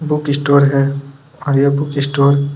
book store है खाया book store --